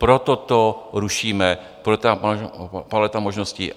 Proto to rušíme, proto ta paleta možností.